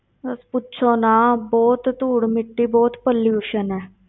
ਬਸ ਪੁੱਛੋ ਨਾ, ਬਹੁਤ ਧੂੜ ਮਿੱਟੀ, ਬਹੁਤ pollution ਹੈ।